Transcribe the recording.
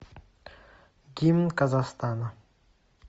гимн казахстана